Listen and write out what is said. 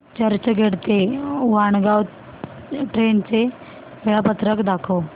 चर्चगेट ते वाणगांव ट्रेन चे वेळापत्रक दाखव